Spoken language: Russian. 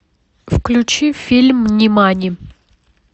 включи фильм нимани